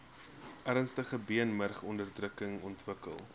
ernstige beenmurgonderdrukking ontwikkel